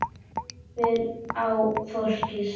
Horfir á fólkið.